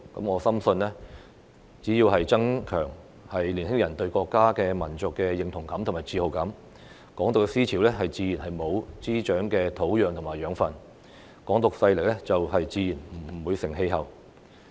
我深信只要增強年輕人對國家和民族的認同感和自豪感，"港獨"的思潮自然沒有滋長的土壤和養分，"港獨"勢力自然不成氣候。